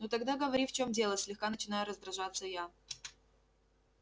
ну тогда говори в чем дело слегка начинаю раздражаться я